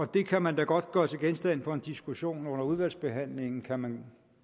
det kan man da godt gøre til genstand for en diskussion og under udvalgsbehandlingen kan man